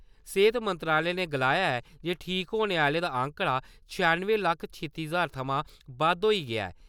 सेहत मंत्रालय ने गलाया ऐ जे ठीक होने आह्‌लें दा आंकडा छिआनुएं लक्ख छित्ती ज्हार थमां बद्द होई गेआ ऐ।